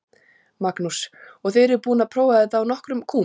Magnús: Og þið eruð búin að prófa þetta á nokkrum kúm?